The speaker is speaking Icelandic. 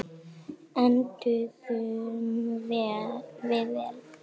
Enduðum við vel?